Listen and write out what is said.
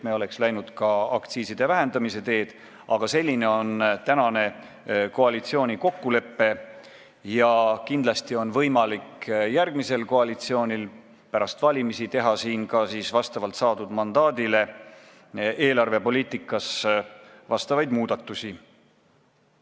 Me oleks läinud aktsiiside vähendamise teed, aga selline on praegune koalitsiooni kokkulepe ja kindlasti on järgmisel koalitsioonil võimalik pärast valimisi vastavalt saadud mandaadile eelarvepoliitikas muudatusi teha.